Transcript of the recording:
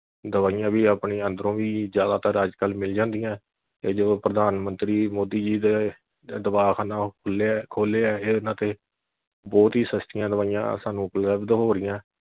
ਦਵਾਈਆਂ ਵੀ ਆਪਣੀਆਂ ਅੰਦਰੋਂ ਵੀ ਜਿਆਦਾਤਰ ਅੱਜ ਕਲ ਮਿਲ ਜਾਂਦੀਆਂ ਜਦੋਂ ਪ੍ਰਧਾਨ ਮੰਤਰੀ ਮੋਦੀ ਜੀ ਦੇ ਦਵਾਖਾਨਾ ਖੁੱਲਿਆ ਖੋਲਿਆ ਹੈ ਉਨ੍ਹਾਂ ਤੇ ਬਹੁਤ ਹੀ ਸਸਤੀਆਂ ਦਵਾਈਆਂ ਸਾਨੂੰ ਉਪਲੱਭਧ ਹੋ ਰਹੀਆਂ।